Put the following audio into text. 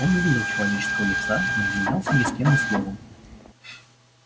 он не видел человеческою лица не обменялся ни с кем ни словом